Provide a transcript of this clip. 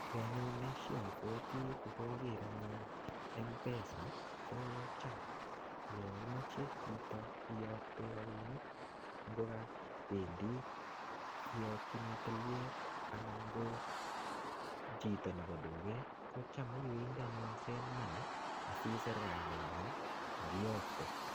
Kii anyun neisi obwotii kokoker anyun m-pesa kocham yon imoche chito iyokte rabinik ngokapendii iyokinii tilyet anan ko chito nebo tuket kocham iwendii anyun send money asisir kainenyin ak iyokte.